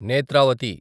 Netravati